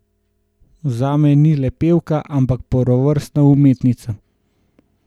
Zame ni le pevka, ampak prvovrstna umetnica.